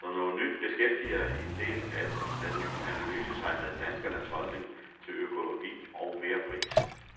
Som noget nyt beskæftiger en del af den ny analyse sig med danskernes holdning til økologi og merpris.